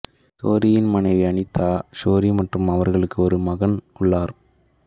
ஷோரியின் மனைவி அனிதா ஷோரி மற்றும் அவர்களுக்கு ஒரு மகன் உள்ளார்